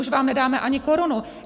Už vám nedáme ani korunu!